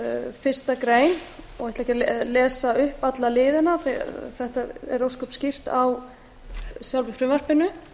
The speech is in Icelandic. fimm fyrstu grein og ætla ekki að lesa upp alla liðina þetta er ósköp skýrt á sjálfu frumvarpinu